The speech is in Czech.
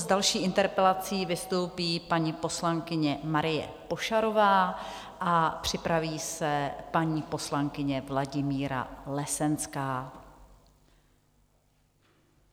S další interpelací vystoupí paní poslankyně Marie Pošarová a připraví se paní poslankyně Vladimíra Lesenská.